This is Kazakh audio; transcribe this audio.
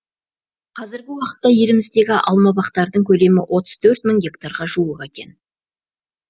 қазіргі уақытта еліміздегі алмабақтардың көлемі отыз төрт мың гектарға жуық екен